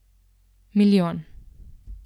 Milijon.